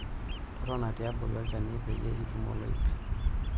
Totona tiabori olchani pee itum oloip.